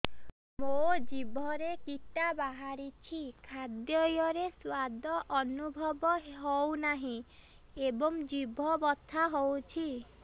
ମୋ ଜିଭରେ କିଟା ବାହାରିଛି ଖାଦ୍ଯୟରେ ସ୍ୱାଦ ଅନୁଭବ ହଉନାହିଁ ଏବଂ ଜିଭ ବଥା ହଉଛି